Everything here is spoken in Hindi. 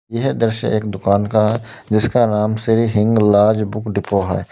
यह दृश्य एक दुकान का जिसका नाम श्री हिंगलाज बुक डिपो है।